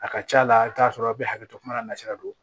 A ka ca la i bi t'a sɔrɔ aw be hakɛ to kuma na sira don